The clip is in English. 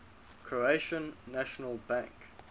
croatian national bank